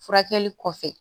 Furakɛli kɔfɛ